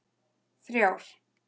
þrjár